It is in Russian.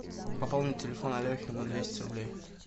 пополнить телефон алехи на двести рублей